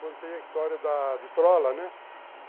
Contei a história da vitrola, né?